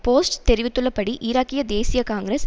post தெரிவித்துள்ளபடி ஈராக்கிய தேசிய காங்கிரஸ்